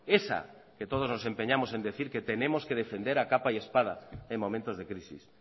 esa que todos nos empeñamos en decir que tenemos que defender a capa y espada en momentos de crisis